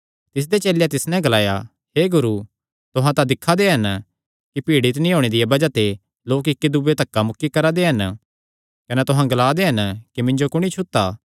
तिसदे चेलेयां तिस नैं ग्लाया तुहां तां दिक्खा दे हन कि भीड़ इतणी होणे दिया बज़ाह ते लोक इक्कीदूये जो धक्का मुक्की करा दे हन कने तुहां ग्ला दे हन कि मिन्जो कुणी छुता